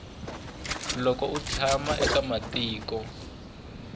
loko u tshama eka matiko